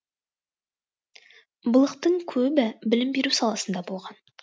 былықтың көбі білім беру саласында болған